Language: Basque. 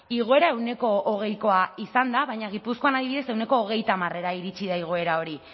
igoera ehuneko hogeikoa zan da baina gipuzkoan adibidez ehuneko hogeita hamarera iritsi da igoera hori